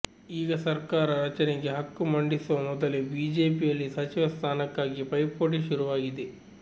ಈಗ ಸರ್ಕಾರ ರಚನೆಗೆ ಹಕ್ಕು ಮಂಡಿಸುವ ಮೊದಲೇ ಬಿಜೆಪಿಯಲ್ಲಿ ಸಚಿವ ಸ್ಥಾನಕ್ಕಾಗಿ ಪೈಪೋಟಿ ಶುರುವಾಗಿದೆ